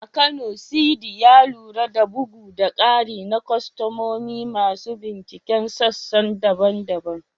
A Kano, Sidi, ya lura da bugu da ƙari na kwastomomi masu binciken sassan daban-daban.